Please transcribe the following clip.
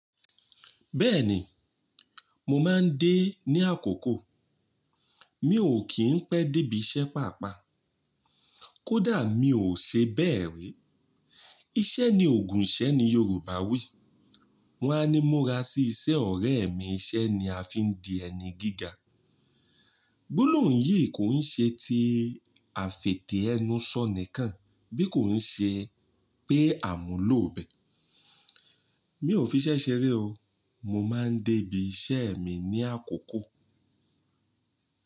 Bẹ́ẹ̀ni, mo máa ń dé ní àkókò. Mi ò kì í pẹ́ dé ibi iṣẹ́ pàápàá. Kódà mi ò ṣe bẹ́ẹ̀ rí. Iṣẹ́ ni Ògùn ìṣẹ́ ni Yoruba wí. Wọ́n á ni mo ra sí iṣẹ́ ọ̀rẹ́ mi iṣẹ́ ni a fi ń di ẹni gíga. Gbolohun yìí kò ń ṣe ti àfètè ẹnu sọ nìkan, bí kò ń ṣe pé àmúlòò bẹ́. Mi ò fi ṣẹ́ṣẹ́ rí o. Mo máa ń dé ibi iṣẹ́ mi ní àkókò.